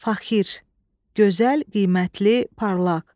Faxir, gözəl, qiymətli, parlaq.